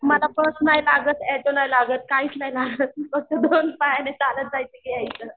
मला बस नाही लागत ऑटो नाही लागत काहीच नाही लागत फक्त दोन पायाने चालत जायचं आणि यायचं